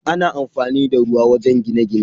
Ana amfani da ruwa wajen gine-gine.